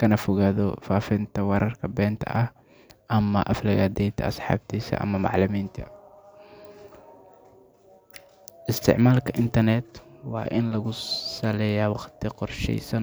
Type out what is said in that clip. kana fogaado faafinta warar been ah ama aflagaadeynta asxaabtiisa ama macallimiinta. Isticmaalka internet-ka waa in lagu saleeyaa waqti qorsheysan.